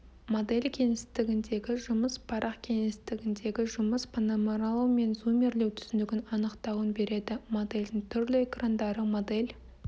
модель кеңістігіндегі жұмыс парақ кеңістігіндегі жұмыс панорамалау мен зумирлеу түсінігін анықтауын береді модельдің түрлі экрандары модель